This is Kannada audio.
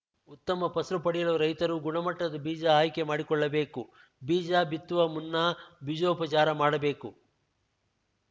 ಉತ್ತಮ ಫಸಲು ಪಡೆಯಲು ರೈತರು ಗುಣಮಟ್ಟದ ಬೀಜ ಆಯ್ಕೆ ಮಾಡಿಕೊಳ್ಳಬೇಕು ಬೀಜ ಬಿತ್ತುವ ಮುನ್ನಾ ಬೀಜೋಪಚಾರ ಮಾಡಬೇಕು